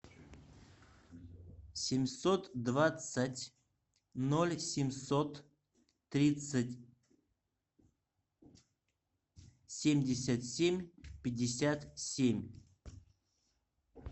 семьсот двадцать ноль семьсот тридцать семьдесят семь пятьдесят семь